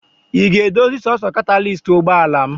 Ị ga-edozi sọọsọ katalist ụgbọala m!.